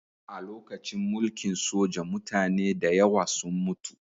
A lokacin mulkin soja mutane da yawa sun mutu